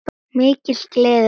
Mikil gleði og ánægja.